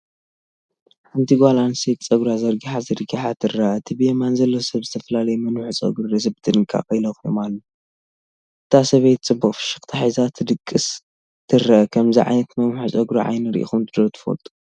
ሓንቲ ጓል ኣንስተይቲ ጸጉራ ዘርጊሓ ዘርጊሓ ትርአ። እቲ ብየማን ዘሎ ሰብ ዝተፈላለዩ መንውሒ ጸጉሪ ርእሲ ብጥንቃቐ ይለኽዮም ኣሎ። እታ ሰበይቲ ፅቡቕ ፍሽኽታ ሒዛ ክትድቅስ ትርአ። ከምዚ ዓይነት መንውሒ ጸጉሪ ዓይኒ ሪኢኹም ዶ ትፈልጡ?